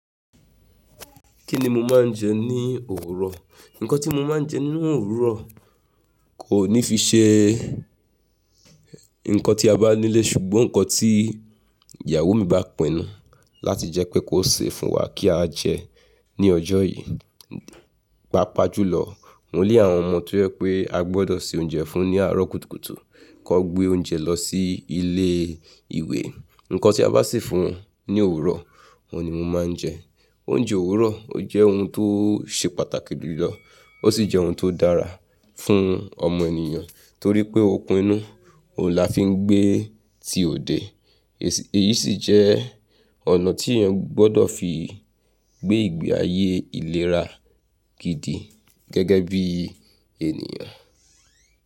Kí ni mo máa ń jẹ ní òwúrọ̀? Nǹkan tí mo máa ń jẹ nínú òwúrọ̀ kò ní fi ṣe nǹkan tí a bá nílé ṣùgbọ́n nǹkan tí ìyàwó mi bá pinu láti jẹ́ pé kó sè fún wa kí á jẹ ní ọjọ́ yìí. Mo ní àwọn ọmọ tó jẹ́ pé a gbọdọ̀ se oúnjẹ fún un ní àárọ̀ kùtùkùtù kí wón gbé oúnjẹ lọ sí ilé ìwé. Nǹkan tí a bá sè fún wọn ní òwúrọ̀, òun ni mo máa ń jẹ. Oúnjẹ òwúrọ̀ ó jẹ́ ohun tó ṣe pàtàkì jùlọ ó sì jẹ́ ohun tó dára fún ọmọ ènìyàn torí pé ókun inu, òun la fi ń gbé ti òde. Èyí sì jẹ́ ọ̀nà tí èèyàn gbọdọ̀ fi gbé ìgbé ayé ìlera gidi gẹ́gẹ́ bí ènìyàn.